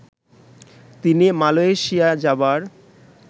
তিনি মালয়েশিয়া যাবার